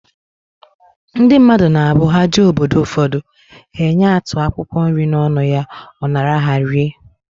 Ndị mmadụ na abụ, ha jee obodo ụfọdụ, he enye atụ akwụkwọ nri n'ọnụ ya, ọ nara ha, rie